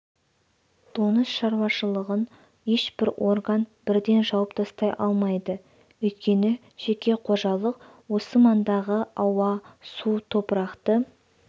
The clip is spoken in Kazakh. доңыз шаруашылығын ешбір орган бірден жауып тастай алмайды өйткені жеке қожалық осы маңдағы ауа су топырақты